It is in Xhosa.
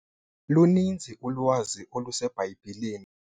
Luninzi ulwazi oluseBhayibhileni.